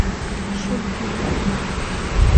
шульгин